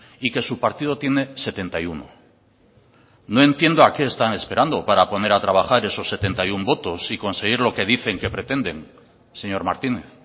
y que su partido tiene setenta y uno no entiendo a qué están esperando para poner a trabajar esos setenta y uno votos y conseguir lo que dicen que pretenden señor martínez